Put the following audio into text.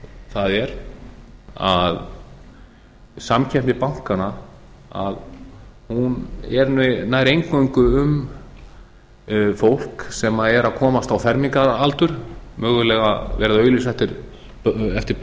það er að samkeppni bankanna er nær eingöngu um fái sem er að komast á fermingaraldur mögulega verið að auglýsa eftir